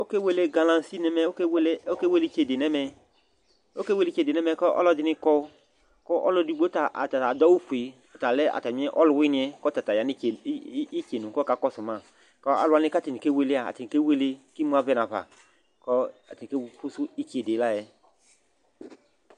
Ɔkewle galansi nʋ ɛmɛ, ɔkewele ɔkewele itsede nʋ ɛmɛ, ɔkewele itsede nʋ ɛmɛ kʋ ɔlɔdɩnɩ kɔ kʋ ɔlʋ edigbo ta ɔta ta adʋ awʋfue, ɔta lɛ atamɩ ɔlʋwɩnɩ yɛ kʋ ɔta ta ya nʋ itse i i itsenu kʋ ɔkakɔsʋ ma kʋ alʋ wanɩ kʋ atanɩ kewele yɛ a, atanɩ kewele kʋ imu ava nafa kʋ atanɩ kafʋsʋ itsede yɛ la yɛ